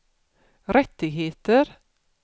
rättigheter